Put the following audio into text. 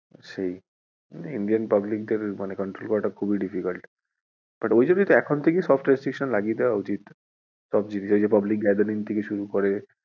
সেই, Indian public দের control করাটা খুবই difficult but ওইজন্যই তো এখন থেকে সব restriction লাগিয়ে দেওয়া উচিৎ। সব জায়গায় এই public gathering থেকে শুরু করে,